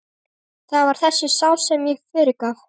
Það var þessari sál sem ég fyrirgaf.